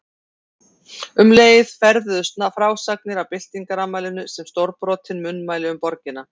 Um leið ferðuðust frásagnir af byltingarafmælinu sem stórbrotin munnmæli um borgina.